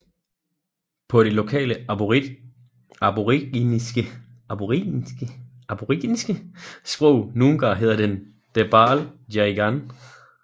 På det lokale aboriginske sprog Noongar hedder den Derbarl Yerrigan